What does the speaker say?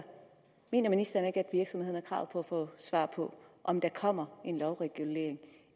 mener ministeren ikke at virksomhederne har krav på at få svar på om der kommer en lovregulering